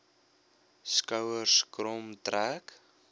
skouers krom trek